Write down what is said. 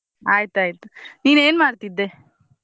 ಆಯ್ತಾತು. ನೀನ್ ಏನ್ ಮಾಡ್ತಿದ್ದೆ?